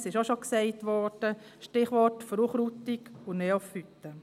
Es wurde auch schon gesagt: Stichwort Verunkrautung und Neophyten.